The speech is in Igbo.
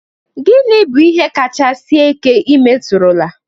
Gịnị bụ ihe nka kacha sie ike ị metụrụla?